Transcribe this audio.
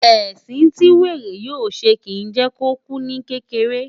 Ẹ̀sìn tí wèrè yóò ṣe, kìí jẹ́ kó kú ní kékeré.